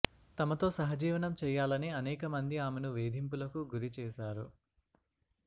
తమతో సహజీవనం చెయ్యాలని అనేక మంది ఆమెను వేధింపులకు గురి చేశారు